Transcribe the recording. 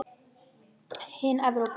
Hin Evrópu